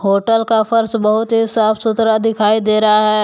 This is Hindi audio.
होटल का फर्श बहुत ही साफ सुथरा दिखाई दे रहा है।